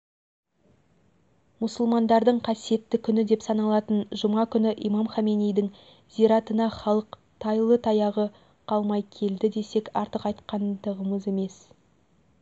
мұсылмандардың қасиетті күні деп саналатын жұма күні имам хомейнидің зиратына халық тайлы-таяғы қалмай келді десек артық айтқандығымыз емес